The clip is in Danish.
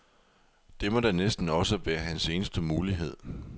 Det må da næsten også være hans eneste mulighed.